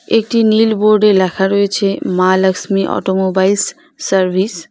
একটি নীল বোর্ডে লেখা রয়েছে মা লক্সমী অটোমোবাইলস সার্ভিস ।